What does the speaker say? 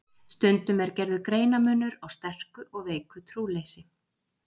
Stundum er gerður greinarmunur á sterku og veiku trúleysi.